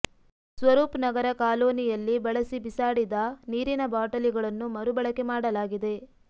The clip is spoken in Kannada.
ಸ್ವರೂಪ್ ನಗರ ಕಾಲೋನಿಯಲ್ಲಿ ಬಳಸಿ ಬಿಸಾಡಿದ ನೀರಿನ ಬಾಟಲಿಗಳನ್ನು ಮರುಬಳಕೆ ಮಾಡಲಾಗಿದೆ